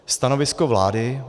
Stanovisko vlády.